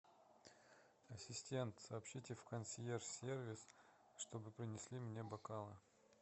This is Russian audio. ассистент сообщите в консьерж сервис чтобы принесли мне бокалы